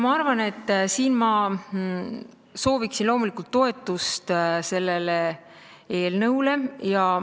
Ma arvan, et ma sooviksin loomulikult sellele eelnõule toetust.